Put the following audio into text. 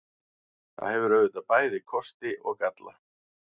Það hefur auðvitað bæði kosti og galla.